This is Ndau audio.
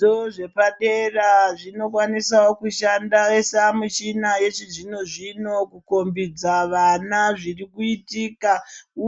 Zvikoro zvepadera zvinokwanisawo kushandisa michina yechizvino zvino kukombidza vana zviri kuitika